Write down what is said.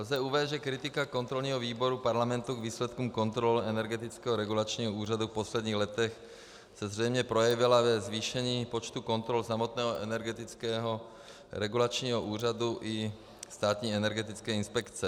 Lze uvést, že kritika kontrolního výboru parlamentu k výsledkům kontrol Energetického regulačního úřadu v posledních letech se zřejmě projevila ve zvýšení počtu kontrol samotného Energetického regulačního úřadu i Státní energetické inspekce.